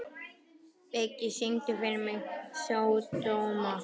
Biggi, syngdu fyrir mig „Sódóma“.